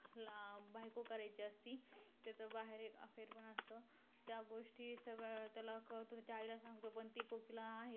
अशाप्रकारे सर्वांनी आपल्या वेस्त दिनचर्येतून थोडा वेळ मालिश केल्याने अनेक रोगांपासून दूर राहता येईल नुसते दिवाळी पुरते मालिश न करता आठवड्यातून एकदा तरी मालिश करावे .